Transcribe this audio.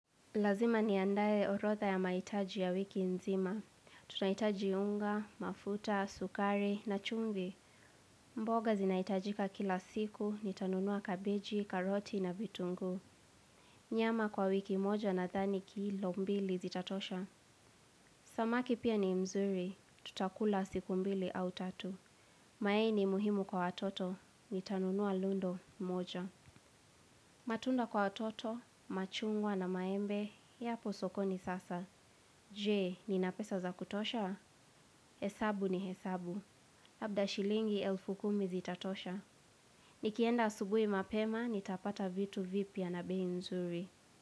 Lazima niandae orodha ya mahitaji ya wiki nzima. Tunahitaji unga, mafuta, sukari, na chumvi. Mboga zinahitajika kila siku, nitanunua kabeji, karoti, na vitunguu. Nyama kwa wiki moja nadhani kilo mbili zitatosha. Samaki pia ni mzuri, tutakula siku mbili au tatu. Mayai ni muhimu kwa watoto, nitanunua lundo moja. Matunda kwa watoto, machungwa na maembe, yaposokoni sasa. Je nina pesa za kutosha. Hesabu ni hesabu. Labda shilingi elfu kumi zitatosha. Nikienda asubuhi mapema, nitapata vitu vipya na bei nzuri.